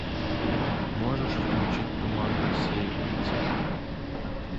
можешь включить туман рассеивается